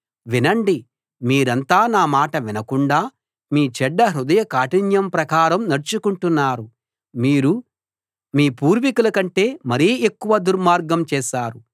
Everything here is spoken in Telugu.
వినండి మీరంతా నా మాట వినకుండా మీ చెడ్డ హృదయ కాఠిన్యం ప్రకారం నడుచుకుంటున్నారు మీరు మీ పూర్వీకుల కంటే మరి ఎక్కువ దుర్మార్గం చేశారు